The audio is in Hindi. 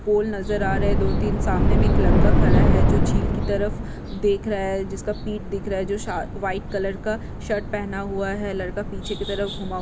पोल नज़र आ रहा है दो तीन सामने मे एक लड़का खड़ा है जो झील की तरफ देख रहा है जिसका पिठ दिख रहा है जो शा व्हाइट कलर का शर्ट पहना हुआ है लड़का पिछे की तरफ घूमा--